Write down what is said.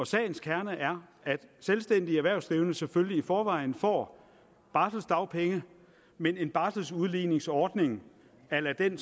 sagens kerne er at selvstændige erhvervsdrivende selvfølgelig i forvejen får barseldagpenge men en barseludligningsordning a la den